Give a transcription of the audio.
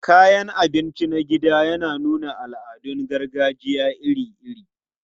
Kayan abinci na gida yana nuna al'adun gargajiya iri-iri.